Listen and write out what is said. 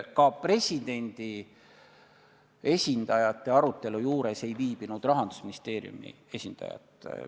Ka presidendi esindajate arutelu juures ei viibinud Rahandusministeeriumi esindajaid.